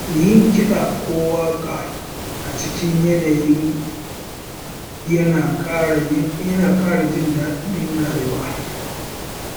Yin kiɗa ko waƙa a cikin yanayi yana ƙara jin daɗin rayuwa.